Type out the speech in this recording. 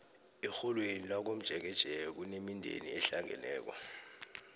erholweni lakamtjeketjeke kunemindeni ehlangeneko